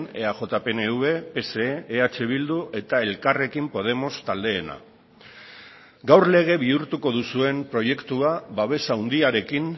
eaj pnv pse eh bildu eta elkarrekin podemos taldeena gaur lege bihurtuko duzuen proiektua babes handiarekin